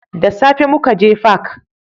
Da safe mukaje fak